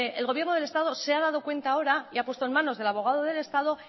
el gobierno del estado se ha dado cuenta ahora y ha puesto en manos del abogado del estado